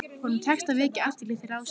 Honum tekst að vekja athygli þeirra á sér.